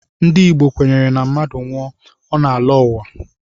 Ndị Igbo kwenyere na mmadụ nwụọ, ọ na-alọ uwa